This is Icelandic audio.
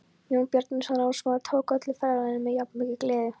Jón Bjarnason ráðsmaður tók öllu ferðalaginu með jafnmikilli gleði.